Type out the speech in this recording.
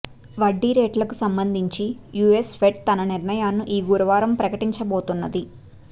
వడ్డీరేట్లకు సంబంధించి US Fed తన నిర్ణయాన్ని ఈ గురువారం ప్రకటించబోతున్నది